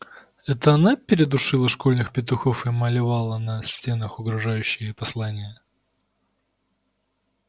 это она передушила школьных петухов и малевала на стенах угрожающие послания